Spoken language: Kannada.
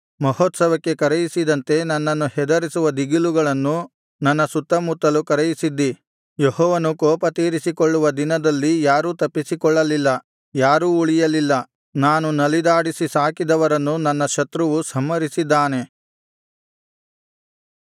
ಮಹೋತ್ಸವಕ್ಕೆ ಕರೆಯಿಸಿದಂತೆ ನನ್ನನ್ನು ಹೆದರಿಸುವ ದಿಗಿಲುಗಳನ್ನು ನನ್ನ ಸುತ್ತುಮುತ್ತಲು ಕರೆಯಿಸಿದ್ದೀ ಯೆಹೋವನು ಕೋಪತೀರಿಸಿಕೊಳ್ಳುವ ದಿನದಲ್ಲಿ ಯಾರೂ ತಪ್ಪಿಸಿಕೊಳ್ಳಲಿಲ್ಲ ಯಾರೂ ಉಳಿಯಲಿಲ್ಲ ನಾನು ನಲಿದಾಡಿಸಿ ಸಾಕಿದವರನ್ನು ನನ್ನ ಶತ್ರುವು ಸಂಹರಿಸಿದ್ದಾನೆ